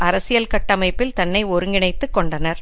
அரசியல் கட்டமைப்பில் தன்னை ஒருங்கிணைத்துக் கொண்டனர்